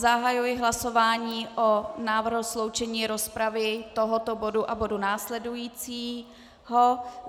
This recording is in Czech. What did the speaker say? Zahajuji hlasování o návrhu sloučení rozpravy tohoto bodu a bodu následujícího.